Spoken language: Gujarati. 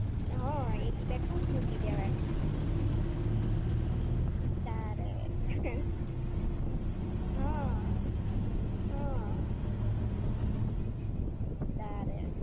હમ્મ એક બે tube મૂકી દેવાની. તારે. હમ્મ. હમ્મ. તારે.